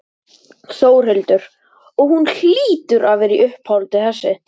Þórhildur: Og hún hlýtur að vera í uppáhaldi þessi?